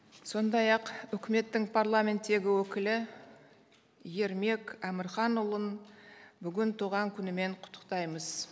сондай ақ үкіметтің парламенттегі өкілі ермек әмірханұлын бүгін туған күнімен құттықтаймыз